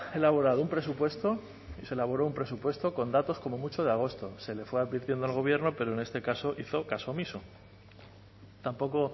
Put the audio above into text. elaborado un presupuesto se elaboró un presupuesto con datos como mucho de agosto se le fue advirtiendo al gobierno pero en este caso hizo caso omiso tampoco